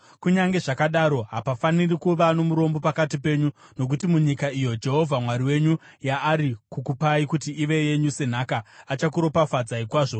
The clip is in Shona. Kunyange zvakadaro, hapafaniri kuva nomurombo pakati penyu, nokuti munyika iyo Jehovha Mwari wenyu yaari kukupai kuti ive yenyu senhaka, achakuropafadzai kwazvo,